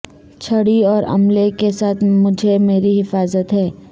چھڑی اور عملے کے ساتھ مجھے میری حفاظت ہے